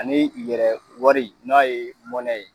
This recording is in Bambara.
Ani yɛrɛ wari n'a ye mɔnɛ ye